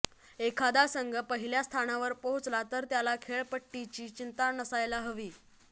एखादा संघ पहिल्या स्थानावर पोहोचला तर त्याला खेळपट्टीची चिंता नसायला हवी